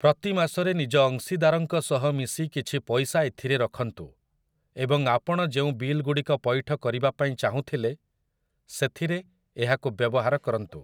ପ୍ରତି ମାସରେ ନିଜ ଅଂଶୀଦାରଙ୍କ ସହ ମିଶି କିଛି ପଇସା ଏଥିରେ ରଖନ୍ତୁ, ଏବଂ ଆପଣ ଯେଉଁ ବିଲ୍‌ଗୁଡ଼ିକ ପଇଠ କରିବାପାଇଁ ଚାହୁଁଥିଲେ ସେଥିରେ ଏହାକୁ ବ୍ୟବହାର କରନ୍ତୁ ।